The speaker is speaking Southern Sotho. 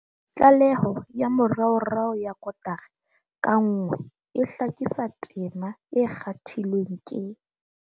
Tlaleho ya moraorao ya kotara ka nngwe e hlakisa tema e kgathilweng ke.